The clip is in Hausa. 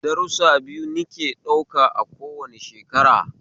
Darusa biyu nike ɗauka a kowane shekara